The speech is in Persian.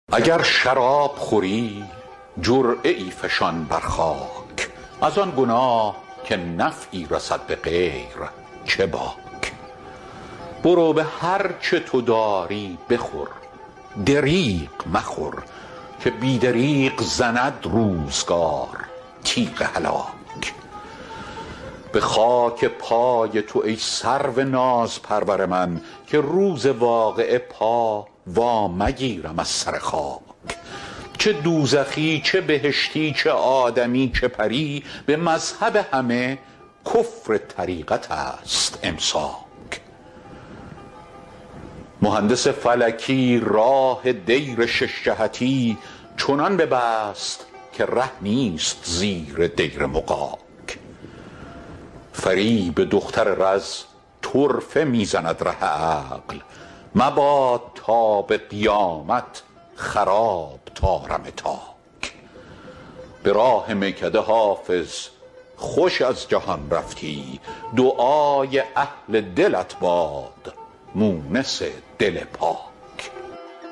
اگر شراب خوری جرعه ای فشان بر خاک از آن گناه که نفعی رسد به غیر چه باک برو به هر چه تو داری بخور دریغ مخور که بی دریغ زند روزگار تیغ هلاک به خاک پای تو ای سرو نازپرور من که روز واقعه پا وا مگیرم از سر خاک چه دوزخی چه بهشتی چه آدمی چه پری به مذهب همه کفر طریقت است امساک مهندس فلکی راه دیر شش جهتی چنان ببست که ره نیست زیر دیر مغاک فریب دختر رز طرفه می زند ره عقل مباد تا به قیامت خراب طارم تاک به راه میکده حافظ خوش از جهان رفتی دعای اهل دلت باد مونس دل پاک